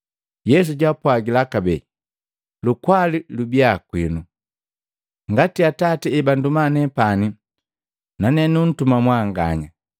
Yesu jaapwagila kabee, “Lukwali lubiya kwinu! Ngati Atati ebantuma nepani, nane numtuma mwanganya.”